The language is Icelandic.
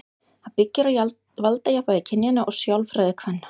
Það byggir á valdajafnvægi kynjanna og sjálfræði kvenna.